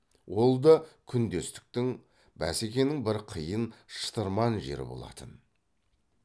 ол да күндестіктің бәсекенің бір қиын шытырман жері болатын